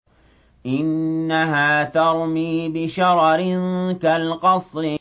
إِنَّهَا تَرْمِي بِشَرَرٍ كَالْقَصْرِ